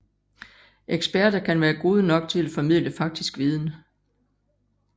Eksperter kan være gode nok til at formidle faktisk viden